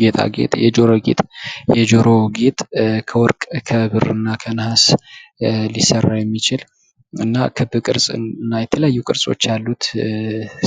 ጌጣጌጥ የጆሮ ጌጥ የጆሮ ጌጥ ከወርቅ፣ ከብር፣ እና ከነሃስ ሊሰራ የሚችል እና ክብ ቅርጽ እና የተለቱ ቅርጾች ያሉት